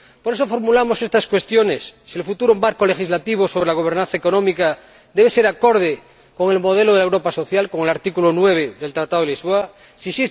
Por eso formulamos estas cuestiones ¿el futuro marco legislativo sobre la gobernanza económica debe ser acorde con el modelo de la Europa social, con el artículo 9 del Tratado de Funcionamiento de la UE?